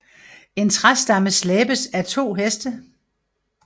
En træstamme slæbes af to heste